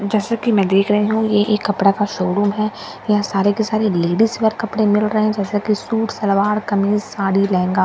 जैसे कि मैं देख रही हूं ये एक कपड़ा का शोरूम है यहां सारे के सारे लेडिस वेयर कपड़े मिल रहे हैं जैसे कि सूट सलवार कमीज साड़ी लहंगा --